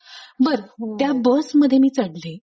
बरं त्या बस मध्ये मी चढले.